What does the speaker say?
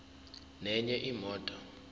nenye imoto